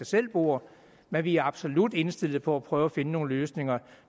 selv bord men vi er absolut indstillet på at prøve at finde nogle løsninger